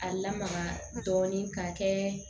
A lamaga dɔɔnin ka kɛ